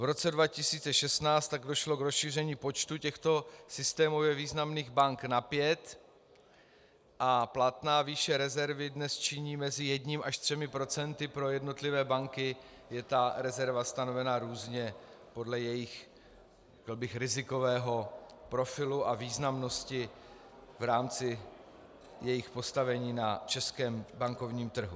V roce 2016 tak došlo k rozšíření počtu těchto systémově významných bank na pět a platná výše rezervy dnes činí mezi jedním až třemi procenty, pro jednotlivé banky je ta rezerva stanovena různě podle jejich rizikového profilu a významnosti v rámci jejich postavení na českém bankovním trhu.